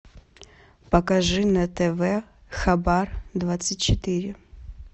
покажи на тв хабар двадцать четыре